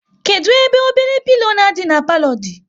Kedụ ebe obele pilo na adị na palo dị?